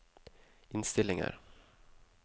innstillinger